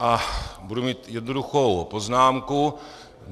A budu mít jednoduchou poznámku.